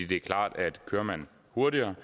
det er klart at kører man hurtigere